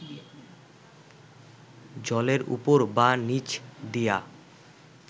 জলের উপর বা নিচ দিয়া